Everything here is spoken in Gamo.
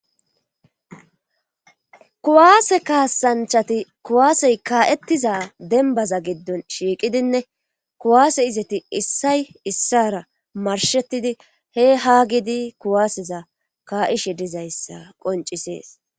Kuwaase kaasanchati kuwaasey kaa'ettiza dembaza giddon shiiqidinne kuwaase izeti issay issara marshettidi he haa gidi kuwaaseza ka'ishe dizayssa qoncisees.